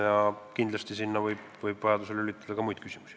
Ja kindlasti võib sinna vajadusel lülitada ka muid küsimusi.